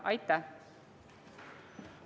Aitäh!